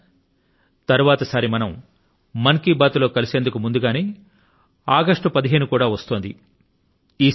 మిత్రులారా మరుసటి మన్ కీ బాత్ మనసు లో మాట కార్యక్రమం లో మనం కలిసే కన్నా ముందుగానే ఆగస్టు 15 కూడా వస్తోంది